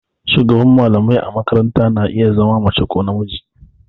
Shugaban mallamai a makaranta na iya zama mace ko namiji.